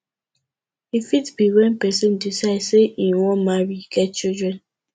e fit be when person decide sey im wan marry get children